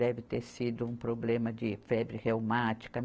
Deve ter sido um problema de febre reumática.